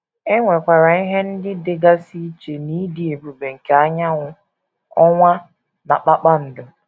E nwekwara ihe ndị dịgasị iche n’ịdị ebube nke anyanwụ, ọnwa, na kpakpando.